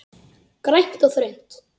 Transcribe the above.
Grænt og þröngt.